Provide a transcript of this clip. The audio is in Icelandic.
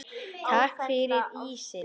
Takk fyrir ísinn.